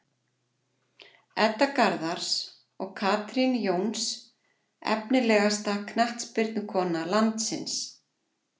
Edda Garðars og Katrín Jóns Efnilegasta knattspyrnukona landsins?